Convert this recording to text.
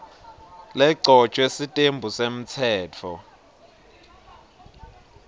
legcotjwe sitembu semtsetfo